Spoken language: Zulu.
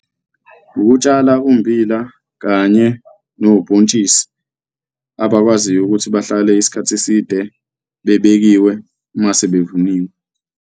Ukutshala ummbila kanye nobhontshisi abakwaziyo ukuthi bahlale isikhathi eside bebekiwe uma sebevuniwe.